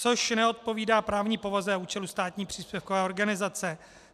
- což neodpovídá právní povaze a účelu státní příspěvkové organizace.